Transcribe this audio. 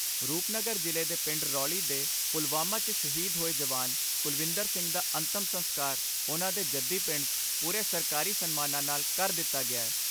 ਰੂਪਨਗਰ ਜ਼ਿਲ੍ਹੇ ਦੇ ਪਿੰਡ ਰੌਲੀ ਦੇ, ਪੁਲਵਾਮਾ 'ਚ ਸ਼ਹੀਦ ਹੋਏ ਜਵਾਨ ਕੁਲਵਿੰਦਰ ਸਿੰਘ ਦਾ ਅੰਤਮ ਸੰਸਕਾਰ ਉਨ੍ਹਾਂ ਦੇ ਜੱਦੀ ਪਿੰਡ 'ਚ ਪੂਰੇ ਸਰਕਾਰੀ ਸਨਮਾਨਾਂ ਨਾਲ ਕਰ ਦਿੱਤਾ ਗਿਐ।